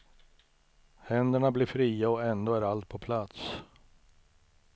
Händerna blir fria och ändå är allt på plats.